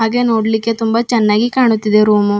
ಹಾಗೆ ನೋಡ್ಲಿಕ್ಕೆ ತುಂಬಾ ಚೆನ್ನಾಗಿ ಕಾಣ್ತಿದೆ ರೂಮು.